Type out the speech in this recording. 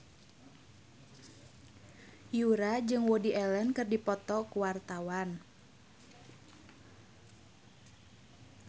Yura jeung Woody Allen keur dipoto ku wartawan